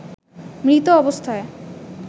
মৃত অবস্থায়